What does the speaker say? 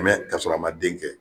Mɛ ka sɔrɔ a ma den kɛ